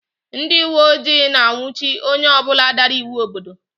Ndị uwe ojii na-anwụchi onye ọ bụla dara iwu obodo